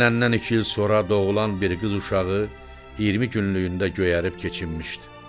Evlənəndən iki il sonra doğulan bir qız uşağı 20 günlükdə göyərib keçinmişdi.